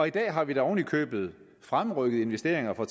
i dag har vi da oven i købet fremrykket investeringer for